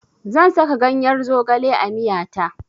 Zan saka ganyar zogale a miya ta.